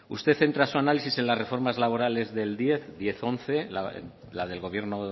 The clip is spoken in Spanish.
usted centra en su análisis en las reformas laborales del diez diez once la del gobierno